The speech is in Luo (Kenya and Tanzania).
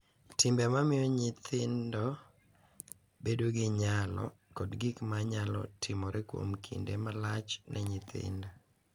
Timbe ma miyo nyithindo bedo gi nyalo, kod gik ma nyalo timore kuom kinde malach ne nyithindo.